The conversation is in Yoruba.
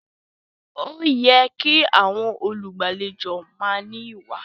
Ó yẹ kí àwọn olùgbàlejò máa ní ìwà